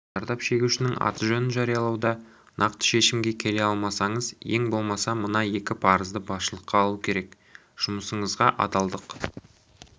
зардап шегушінің аты-жөнін жариялауда нақты шешімге келе алмасаңыз ең болмаса мына екі парызды басшылыққа алу керек жұмысыңызға адалдық